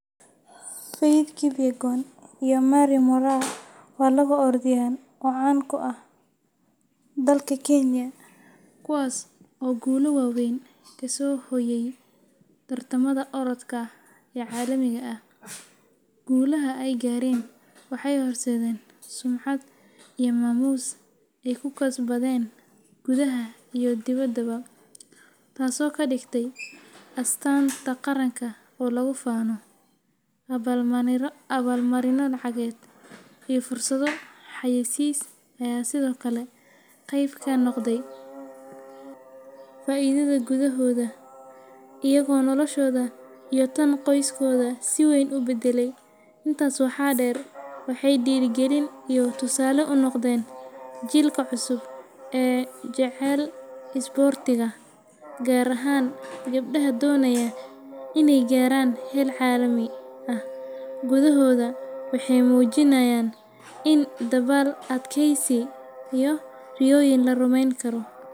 Faith Kipyegon iyo Mary Moraa waa labo orodyahan oo caan ka ah dalka Kenya kuwaas oo guulo waaweyn ka soo hooyay tartamada orodka ee caalamiga ah. Guulaha ay gaareen waxay horseedeen sumcad iyo maamuus ay ku kasbadeen gudaha iyo dibaddaba, taasoo ka dhigtay astaan qaran oo lagu faano. Abaalmarino lacageed iyo fursado xayaysiis ayaa sidoo kale qeyb ka noqday faa’iidada guulahooda, iyagoo noloshooda iyo tan qoysaskooda si weyn u beddelay. Intaas waxaa dheer, waxay dhiirrigelin iyo tusaale u noqdeen jiilka cusub ee jecel isboortiga, gaar ahaan gabdhaha doonaya in ay gaaraan heer caalami ah. Guulahooda waxay muujinayaan in dadaal, adkaysi iyo riyooyin la rumeyn karo.